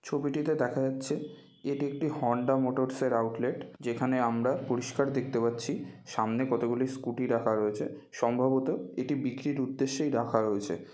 ছবিটিতে দেখা যাচ্ছে এটি একটি হোন্ডা মোটরসের আউটলেট যেখানে আমরা পরিষ্কার দেখতে পাচ্ছি সামনে কতগুলো স্কুটি রাখা রয়েছে সম্ভবত এটি বিক্রির উদ্দেশ্যেই রাখা রয়েছে।